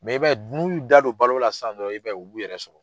Mɛ i b'a ye n'u y'u da don balo la sisan dɔrɔn, i b'a ye u b'u yɛrɛ sɔrɔ.